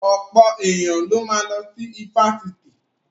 Ọ̀pọ̀ èèyàn ló ma lọ sí ifásitì